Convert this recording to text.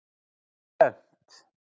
Bent